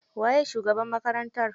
Waye shugaban makarantar?